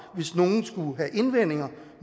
hvis nogen skulle have indvendinger